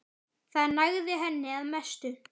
Það nægði henni að mestu.